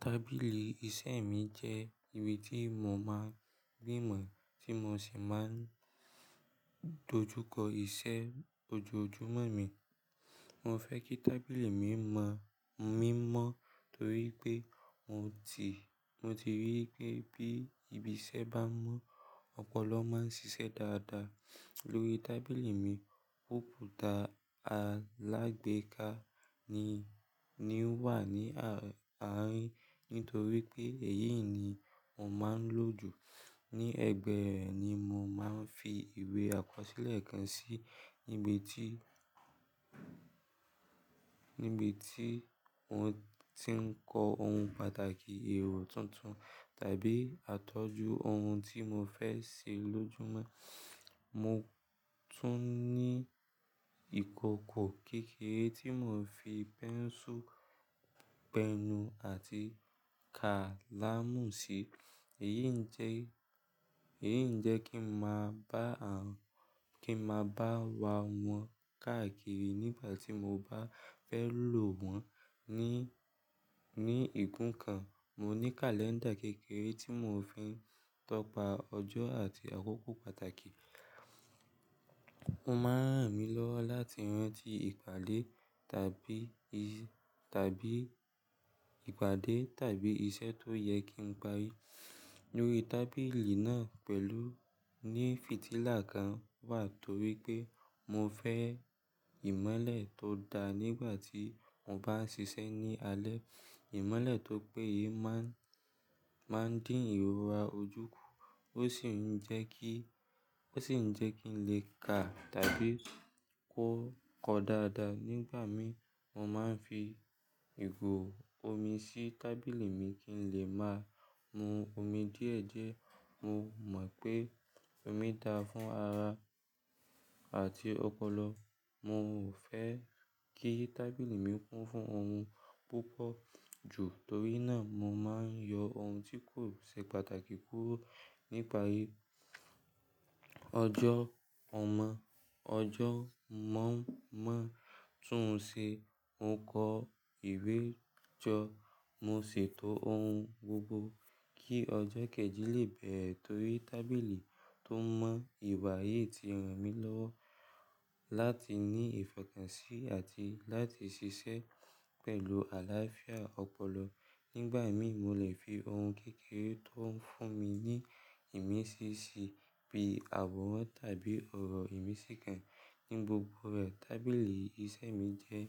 Tábìlì iṣẹ́ mi jẹ́ ibi tí mo máa ń rí mọ́ tí mo sì máa ń dojú kọ iṣẹ́ ojoojúmọ́ mi. Mo fẹ́ kí tábìlì mi má mímọ́ torí pé mo ti, mo ti rí pé bí ibi iṣẹ́ bá mọ́, ọpọlọ máa ń ṣiṣẹ́ dáadáa. Lórí tábìlì mi, kòmpútà alágbèéká ni, ni wà ní àárín torí pé èyí ni mo máa ń lò jù. Ní ẹ̀gbẹ́ rẹ̀ ni mo máa ń fi ìwé àkọsílẹ̀ kan sí níbi tí, níbi tí mo ti ń kọ ohun pàtàkì, èrò tuntun tàbí àtọ́jú ohun tí mo fẹ́ ṣe lojúmọ́. Mo tún ní ìkòkò kékeré tí mo fi pẹ́nsù, pẹnù àti kálámù si. Èyí ń jẹ́, èyí ń jẹ́ kí ń máa bá wa wọn káàkiri nígbà tí mo bá fẹ́ lò wọ́n. Ní, ní ìgún kan, mo ní kàléńdà kékeré tí mo fi ń tọpa ọjọ́ àti àkókò pàtàkì. Ó máa ń ràn mí lọ́wọ́ láti rántí ìpàdé tàbí i, tàbí ìpàdé tàbí iṣẹ́ tó yẹ kí n parí. Lórí tábìlì náà pẹ̀lú ní fitílà kan wà torí pé mo fẹ́ ìmọ́lẹ̀ tó dáa nígbà tí mo bá ń ṣiṣẹ́ ní alẹ́. Ìmọ́lẹ̀ tó péye máa ń, máa ń dín ìrora ojú kù. Ó sì ń jẹ́ kí, ó sì ń jẹ́ kí n lè kà tàbí kó kọ dáadáa. Nígbà mí, mo máa ń fi ìgò omi sí tábìlì mi kí n lè máa mu omi díẹ̀díẹ̀. Mo mọ̀ pé omi dáa fún ara àti ọpọlọ. Mo ò fẹ́ kí tábìlì mi kún fún ohun púpọ̀ jù torí náà mo máa ń yọ ohun tí kò ṣe pàtàkì kúrò nípa irú ọjọ́ ọmọ, ọjọ́ mọ̀ ń mọ̀. Tún ṣe mo kọ ìwé jọ, mo ṣètò ohun gbogbo kí ọjọ́ kejì lè bẹ̀re torí tábìlì tó mọ ìwà yìí ti ràn mí lọ́wọ́ láti ní ìfokànṣí àti láti ṣiṣẹ́ pẹ̀lú àlàáfíà ọpọlọ. Nígbà mí, mo lè fi ohun kékeré tó ń fún mi ní ìmísí síbi àworan tàbí ọ̀rọ̀ ìmísí kan. Ní gbogbo rẹ̀, tábìlì iṣẹ́ mi jẹ́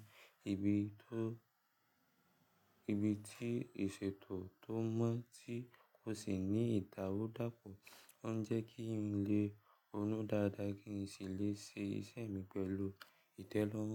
ibi tó, ibi tí ìṣètò tó mọ́ tí ó sì ní ìdàrúdapo. Ó ń jẹ́ kí n lè ronú dáadáa kí n sì lè ṣe iṣẹ́ mi pẹ̀lú ìtẹ́lọ́rùn.